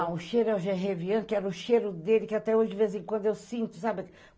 Ah, o cheiro é o Gervian, que era o cheiro dele, que até hoje, de vez em quando, eu sinto, sabe?